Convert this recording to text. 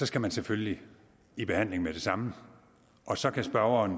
skal man selvfølgelig i behandling med det samme og så kan spørgeren